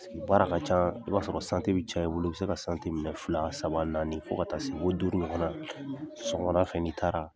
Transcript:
Paseke baara ka ca, i b'a sɔrɔ bɛ caya i bolo. I bɛ se ka minɛ fila, saba , naani fo ka taa se fo duuru ɲɔgɔnna. Sɔgɔmada fɛn n'i taara